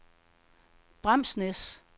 Bramsnæs